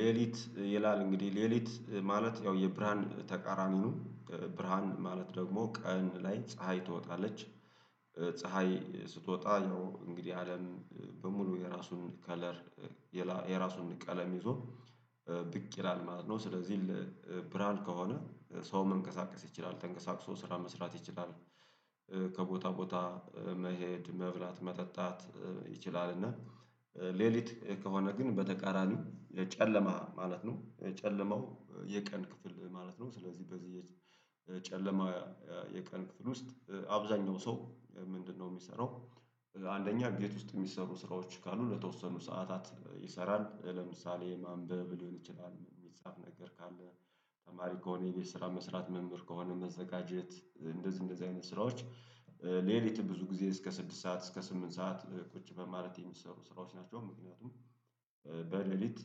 ሌሊት ይላል እንግዲህ ሌሊት ማለት ያው የብርሃን ተቃራሚኑ ብርሃን ደግሞ ቀን ላይ ፀሀይ ትወጣለች። ፀሀይ ስትወጣ ያው እንግዲህ አለም በሙሉ የራሱን ከለር የራሱን ቀለም ይዞ ብቅ ይላል ማለት ነው። ስለዚህ ብርሃን ከሆነ ሰው መንቀሳቀስ ይችላል ተንቀሳቅሶ ስራ መስራት ይችላል። ከቦታ ቦታ መሄድ መብላት መጠጣት ይችላል እና ሌሊት ከሆነ ግን በተቃራኒው የጨለማ ማለት ነው የጨለማው የቀን ክፍል ማለት ነው። ስለዚህ በዚህ የጨለማ የቀን ክፍል ውስጥ አብዛኛው ሰው ምንድነው የሚሰራው? አንደኛ ጌት ውስጥ የሚሰሩ ስራዎች ካሉ ለተወሰኑ ሰዓታት ይሰራል ለምሳሌ ማንበብ ሊሆን ይችላል የሚጻፍ ነገር ካለ ተማሪ ከሆነ የሌሊት ስራ መስራት መምህር ከሆነ መዘጋጀት እንደዚህ እንደዚህ አይነት ስራዎች። ሌሊት ብዙ ጊዜ እስከ ስድስት ሰዓት እስከ ስምንት ሰዓት ቁጭ በማለት የሚሰሩ ስራዎች ናቸው። ምክንያቱም በሌሊት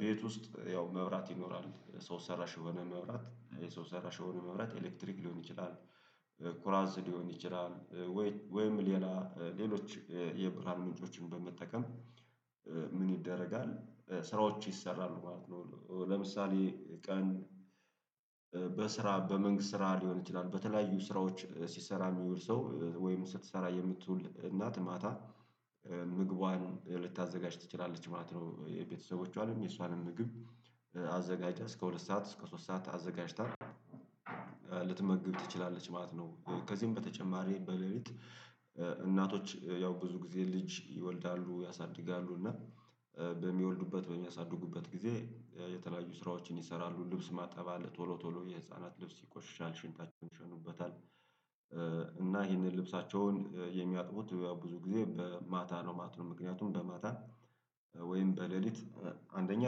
ቤት ውስጥ ያው መብራት ይኖራል ሰው ሰራሽ የሆነ መብራት የሰው ሰራሽ የሆነ መብራት ኤሌክትሪክ ሊሆን ይችላል። ኩራዝ ሊሆን ይችላል ወይ ወይም ሌላ ሌሎች የብራን ምንጮችን በመጠቀም ምን ይደረጋል ስራዎች ይሰራሉ ማለት ነው። ለምሳሌ ቀን በስራ በመንግስት ስራ ሊሆን ይችላል በተለያዩ ስራዎች ሲሰራ የሚሉ ሰው ወይም ስትሰራ የምትውል እናት ማታ ምግቧን ልታዘጋጅ ትችላለች ማለት ነው። የቤተሰቦቿንም የሷንም ምግብ አዘጋጃ እስከ ሁለት ሰዓት እስከ ሶስት ሰዓት አዘጋጅታል ልትመግብ ትችላለች ማለት ነው። ከዚህም በተጨማሪ በሌሊት እናቶች ያው ብዙ ጊዜ ልጅ ይወልዳሉ ያሳድጋሉ እና በሚወልዱበት በሚያሳድጉበት ጊዜ የተለያዩ ስራዎችን ይሰራሉ ልብስ ማጠባል ቶሎ ቶሎ የህፃናት ልብስ ይቆሽሻል ሽንታቸውን ይሸኑበታል። እና ይሄንን ልብሳቸውን የሚያጥቡት ብዙ ጊዜ በማታ ነው ማቱን ምክንያቱም በማታ ወይም በሌሊት አንደኛ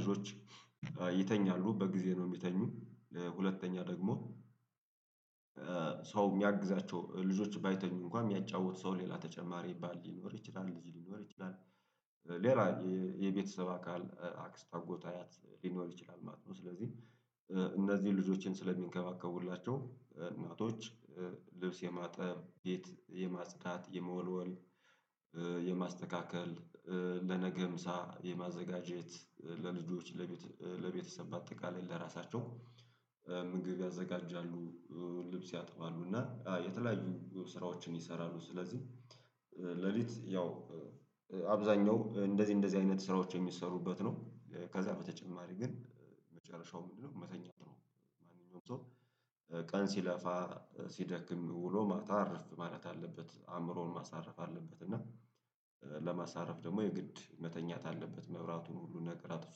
ልጆች ይተኛሉ በጊዜ ነው የሚተኙ ለሁለተኛ ደግሞ። ሰው የሚያግዛቸው ልጆች ባይተኙ እንኳን የሚያጫውቱ ሰው ሌላ ተጨማሪ ባል ሊኖር ይችላል ልጅ ሊኖር ይችላል ሌላ የቤተሰብ አካል አክስት አጎት አያት ሊኖር ይችላል ማለት ነው። ስለዚህ እነዚህን ልጆችን ስለሚንከባከቡላቸው እናቶች ልብስ የማጠብ ቤት የማጽዳት የመወልወል የማስተካከል ለነገምሳ የማዘጋጀት ለልጆች ለቤተሰብ አጠቃላይ ለራሳቸው ምግብ ያዘጋጃሉ። ልብስ ያጥባሉ እና የተለያዩ ስራዎችን ይሰራሉ ስለዚህ ሌሊት ያው አብዛኛው እንደዚህ እንደዚህ አይነት ስራዎች የሚሰሩበት ነው። ከዛ በተጨማሪ ግን መጨረሻው ምንድነው መተኛት ነው? ማንኛውም ሰው ቀን ሲለፋ ሲደክም ውሎ ማታ አርፍ ማለት አለበት አእምሮውን ማሳረፍ አለበት እና ለማሳረፍ ደግሞ የግድ መተኛት አለበት መብራቱን ሁሉ ነገር አጥቶ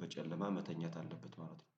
በጨለማ መተኛት አለበት። ማለት ነው።